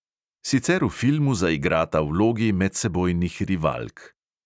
Sicer v filmu zaigrata vlogi medsebojnih rivalk.